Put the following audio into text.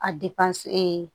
A